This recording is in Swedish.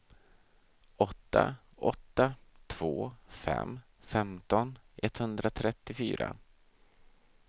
åtta åtta två fem femton etthundratrettiofyra